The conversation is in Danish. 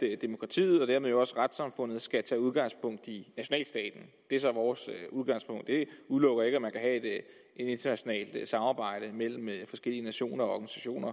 demokratiet og dermed også retssamfundet skal tage udgangspunkt i nationalstaten det er så vores udgangspunkt men det udelukker ikke at man kan have et internationalt samarbejde mellem forskellige nationer og organisationer